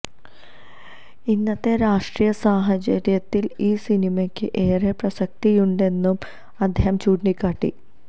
ഇന്നത്തെ രാഷ്ട്രീയ സാഹച ര്യത്തില് ഈ സിനിമയ്ക്ക് ഏറെ പ്രസക്തിയുണ്ടെന്നും അദ്ദേഹം ചൂണ്ടിക്കാട്ടി